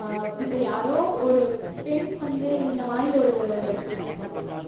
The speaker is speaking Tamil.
ஆஹ் இப்போ யாரோ ஒரு பெண் வந்து இந்த மாதிரி ஒரு